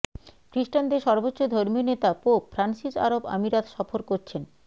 খ্রীস্টানদের সর্বোচ্চ ধর্মীয় নেতা পোপ ফ্রান্সিস আরব আমিরাত সফর করছেন